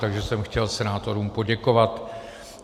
Takže jsem chtěl senátorům poděkovat.